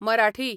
Marathi